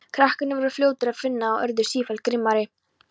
Krakkarnir voru fljótir að finna það og urðu sífellt grimmari.